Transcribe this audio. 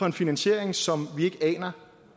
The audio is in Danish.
en finansiering som vi ikke aner